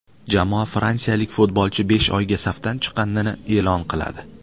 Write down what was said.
Jamoa fransiyalik futbolchi besh oyga safdan chiqqanini e’lon qiladi.